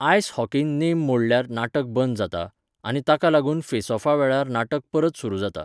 आयस हॉकींत नेम मोडल्यार नाटक बंद जाता, आनी ताका लागून फेसऑफावेळार नाटक परत सुरू जाता.